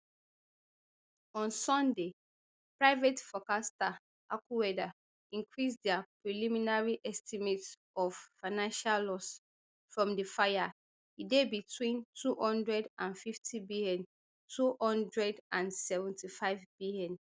on sunday private forecaster accuweather increase dia preliminary estimate of financial loss from di fire e dey betwin two hundred and fiftybntwo hundred and seventy-fivebn